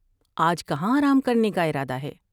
آج کہاں آرام کرنے کا ارادہ ہے ؟